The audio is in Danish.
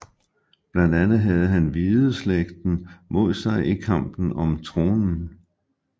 Blandt andet havde han Hvideslægten mod sig i kampen om tronen